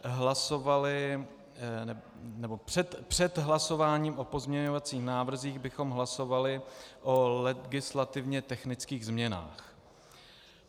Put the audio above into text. Před hlasováním o pozměňovacích návrzích bychom hlasovali o legislativně technických změnách.